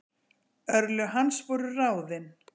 örlög hans voru ráðin